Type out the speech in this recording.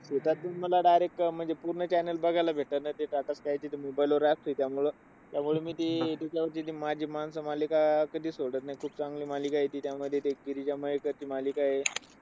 शेतात बी मला direct अह म्हणजे पूर्ण channel बघायला भेटत नाही. ते टाटास्कायच mobile वर app आहे. त्यामुळं, मी ते तिथल्या तिथे माझी माणसं मालिका कधी सोडत नाही. खूप चांगली मालिका आहे ती. त्यामध्ये त्या गिरीजा मयेकर ची मालिका आहे.